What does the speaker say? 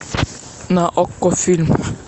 на окко фильм